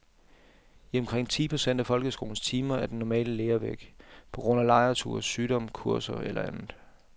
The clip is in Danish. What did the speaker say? I omkring ti procent af folkeskolens timer er den normale lærer væk, på grund af lejrture, sygdom, kurser eller andet.